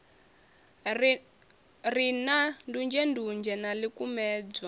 re na ndunzhendunzhe na ḽikumedzwa